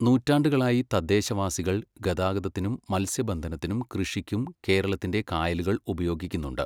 നൂറ്റാണ്ടുകളായി തദ്ദേശവാസികൾ ഗതാഗതത്തിനും മത്സ്യബന്ധനത്തിനും കൃഷിയ്ക്കും കേരളത്തിൻ്റെ കായലുകൾ ഉപയോഗിക്കുന്നുണ്ട്.